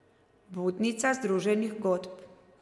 Budnica združenih godb.